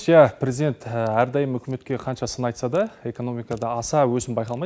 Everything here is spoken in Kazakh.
ия президент әрдайым үкіметке қанша сын айтса да экономикада аса өсім байқалмайды